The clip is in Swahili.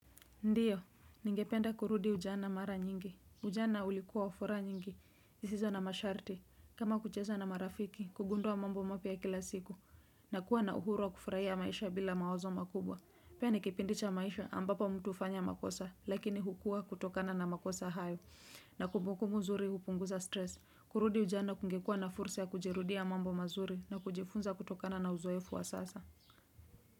Ndiyo, ningependa kurudi ujana mara nyingi. Ujana ulikuwa wa furaha nyingi, zisizo na masharti. Kama kucheza na marafiki, kugundua mambo mapya kila siku, na kuwa na uhuru wakufurahia maisha bila mawazo makubwa. Pia ni kipindicha maisha ambapo mtu hufanya makosa, lakini hukua kutokana na makosa hayo, na kumbukumbu nzuri hupunguza stress. Kurudi ujana kungekuwa na fursa kujirudia mambo mazuri, na kujifunza kutokana na uzoefu wa sasa.